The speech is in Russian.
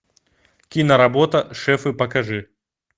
киноработа шефы покажи